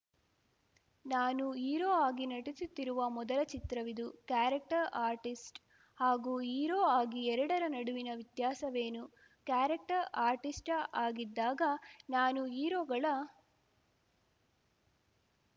ನಾನು ಹೀರೋ ಆಗಿ ನಟಿಸುತ್ತಿರುವ ಮೊದಲ ಚಿತ್ರವಿದು ಕ್ಯಾರೆಕ್ಟರ್‌ ಆರ್ಟಿಸ್ಟ್‌ ಹಾಗೂ ಹೀರೋ ಆಗಿ ಎರಡರ ನಡುವಿನ ವ್ಯತ್ಯಾಸವೇನು ಕ್ಯಾರೆಕ್ಟರ್‌ ಆರ್ಟಿಸ್ಟ ಆಗಿದ್ದಾಗ ನಾನು ಹೀರೋಗಳ